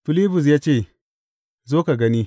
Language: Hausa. Filibus ya ce, Zo ka gani.